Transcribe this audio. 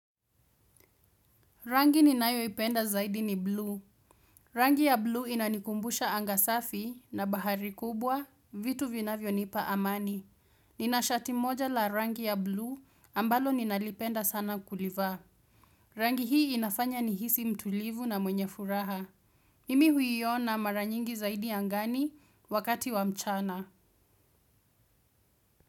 Rangi ninayo ipenda zaidi ni blue. Rangi ya blue inanikumbusha anga safi na bahari kubwa vitu vinavyonipa amani. Nina shati moja la rangi ya blue ambalo ninalipenda sana kulivaa. Rangi hii inafanya nihisi mtulivu na mwenye furaha. Mimi huiona mara nyingi zaidi angani wakati wa mchana.